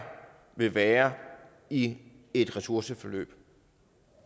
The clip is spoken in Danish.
vil være i et ressourceforløb